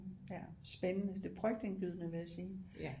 Ja spændende det er frygtindgydende vil jeg sige